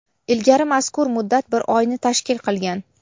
Ilgari mazkur muddat bir oyni tashkil qilgan.